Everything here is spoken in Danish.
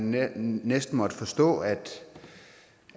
næsten måtte forstå at